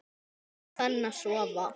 Borgin farin að sofa.